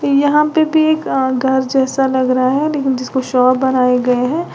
यहां पे भी एक अ घर जैसा लग रहा है लेकिन जिसको शॉप बनाए गए हैं।